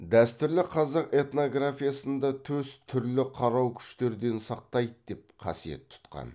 дәстүрлі қазақ этнографиясында төс түрлі қарау күштерден сақтайды деп қасиет тұтқан